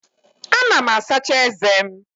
Ana m asacha eze m.